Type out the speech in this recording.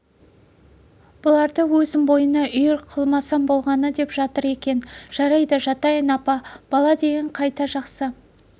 бұларды өзің бойыңа үйір қылмасаң болғаны деп жатыр екен жарайды жатайын апа бала деген қайта жақсы